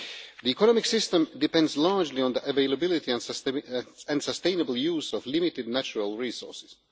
The economic system depends largely on the availability and sustainable use of limited natural resources.